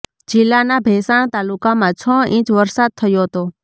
જિલ્લાના ભેંસાણ તાલુકામાં છ ઇંચ વરસાદ થયો હતો